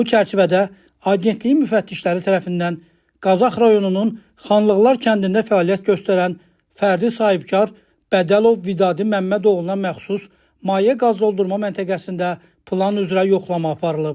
Bu çərçivədə Agentliyin müfəttişləri tərəfindən Qazax rayonunun Xanlıqlar kəndində fəaliyyət göstərən fərdi sahibkar Bədəlov Vidadi Məmmədoğluna məxsus maye qaz doldurma məntəqəsində plan üzrə yoxlama aparılıb.